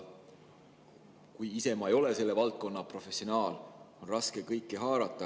Ise ma ei ole selle valdkonna professionaal, on raske kõike haarata.